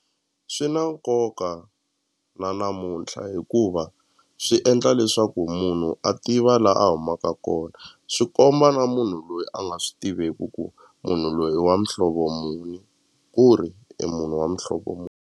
Swi na nkoka na namuntlha hikuva swi endla leswaku munhu a tiva la a humaka kona swi komba na munhu loyi a nga swi tiveki ku munhu loyi i wa muhlovo muni ku ri i munhu wa muhlovo .